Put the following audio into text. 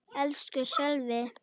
Elsku Sölvi!